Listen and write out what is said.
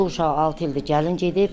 Bu uşaq altı ildir gəlin gedib.